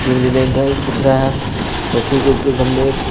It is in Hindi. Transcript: बैंक का दिख रहा है और ठीक उसके सामने ए।